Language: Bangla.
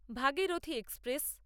ভাগীরথী এক্সপ্রেস